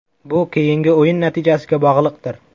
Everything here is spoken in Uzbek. Bu keyingi o‘yin natijasiga bog‘liqdir.